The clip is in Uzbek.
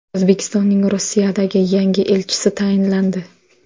O‘zbekistonning Rossiyadagi yangi elchisi tayinlandi.